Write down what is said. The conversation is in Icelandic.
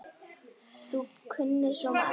Þú kunnir svo margt.